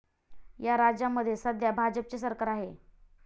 या राज्यांमध्ये सध्या भाजपचे सरकार आहे.